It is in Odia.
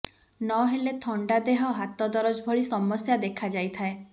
ନହେଲେ ଥଣ୍ଡା ଦେହ ହାତ ଦରଜ ଭଳି ସମସ୍ୟା ଦେଖାଯାଇଥାଏ